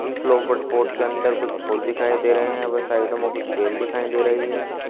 Flower pot के अंदर कुछ फूल दिखाई दे रहे हैं व साइडो में बेल दिखाई दे रही है।